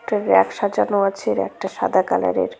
একটা র‍্যাক সাজানো আছে র‍্যাকটা সাদা কালারের ।